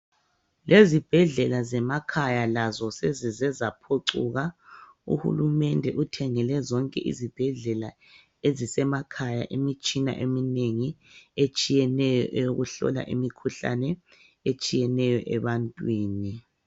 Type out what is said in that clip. Lezibhedlela zemakhaya lazo sezizezaphucuka. Uhulumende uthengele zonke izibhedlela ezisemakhaya imitshina eminengi etshiyeneyo eyokuhlola imikhuhlane etshiyeneyo ebantwini.